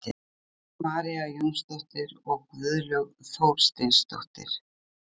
Sigurlaug María Jónsdóttir og Guðlaug Þorsteinsdóttir.